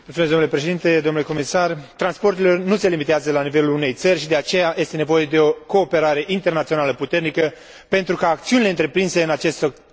Transporturile nu se limitează la nivelul unei țări și, de aceea, este nevoie de o cooperare internațională puternică pentru ca acțiunile întreprinse în acest sector să fie eficiente.